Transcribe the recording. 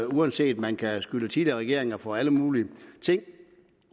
uanset at man kan beskylde tidligere regeringer for alle mulige ting